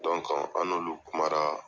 an n'olu kumara